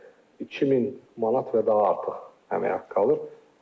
2000 manat və daha artıq əmək haqqı alır.